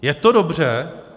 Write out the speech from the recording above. Je to dobře?